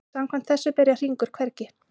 Samkvæmt þessu byrjar hringur hvergi.